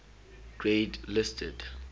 grade listed